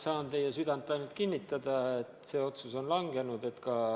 Saan teie südant rahustada: see otsus on langenud.